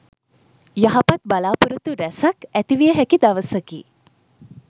යහපත් බලා‍පොරොත්තු රැසක් ඇතිවිය හැකි දවසකි.